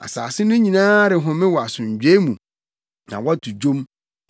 Nsase no nyinaa rehome wɔ asomdwoe mu; na wɔto dwom.